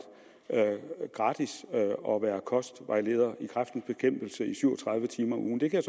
gratis og være kostvejleder i kræftens bekæmpelse i syv og tredive timer om ugen det kan